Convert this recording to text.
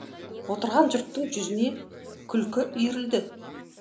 отырған жұрттың жүзіне күлкі үйірілді